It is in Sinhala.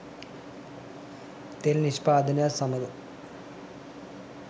තෙල් නිෂ්පාදනයත් සමග